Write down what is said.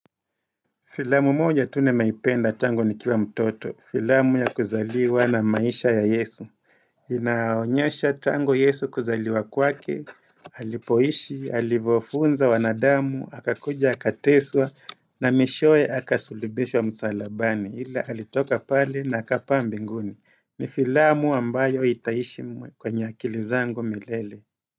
Filamu moja nimeipenda tangu ni kiwa mtoto. Filamu ya kuzaliwa na maisha ya yesu. Inaonyesha tangu yesu kuzaliwa kwake, alipoishi, halivofunza wanadamu, hakakuja, hakateswa, na mwishowe, akasulibishwa msalabani. Ila alitoka pale na akapaa mbinguni. Ni filamu ambayo itaishi kwenye akilizangu milele.